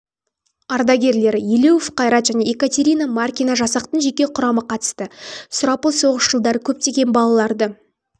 ардагерлері елеуов қайрат және екатерина маркина жасақтың жеке құрамы қатысты сұрапыл соғыс жылдары көптеген балаларды